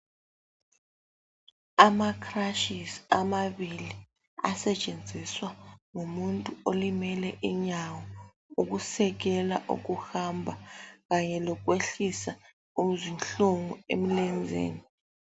Amacrutches amabili asetshenziswa ngumuntu olimele inyawo ukusekela ukuhamba kanye lokwehlisa izinhlungu emlenzeni.